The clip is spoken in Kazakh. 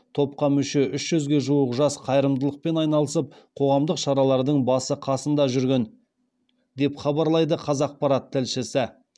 топқа мүше үш жүзге жуық жас қайырымдылықпен айналысып қоғамдық шаралардың басы қасында жүрген деп хабарлайды қазақпарат тілшісі